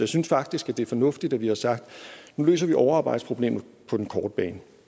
synes faktisk at det er fornuftigt at vi har sagt nu løser vi overarbejdsproblemet på den korte bane